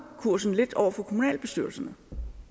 kursen lidt over for kommunalbestyrelserne